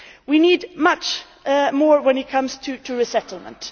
We need much more when it comes to resettlement.